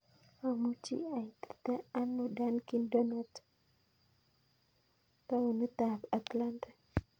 Amuchi aitite ano dunkin' donut taonit ap atlantic